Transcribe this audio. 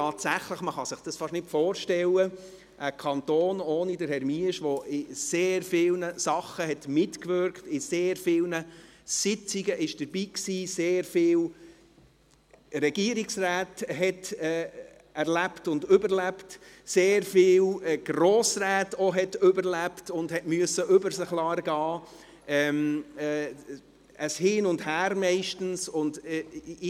Tatsächlich, man kann sich dies beinahe nicht vorstellen – ein Kanton ohne Herrn Miesch, der bei sehr vielen Sachen mitgewirkt hat, an sehr vielen Sitzungen dabei war, sehr viele Regierungsräte erlebt und überlebt hat, auch sehr viele Grossräte überlebt hat und über sich ergehen lassen musste, meistens ein Hin und Her.